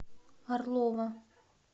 орлова